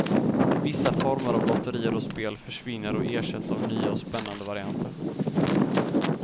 Vissa former av lotterier och spel försvinner och ersätts av nya och spännande varianter.